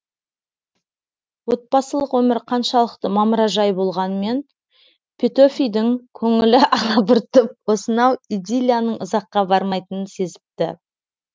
отбасылық өмір қаншалықты мамыражай болғанмен петөфидің көңілі алабұртып осынау идиллияның ұзаққа бармайтынын сезіпті